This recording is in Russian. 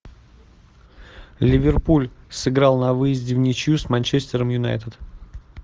ливерпуль сыграл на выезде в ничью с манчестером юнайтед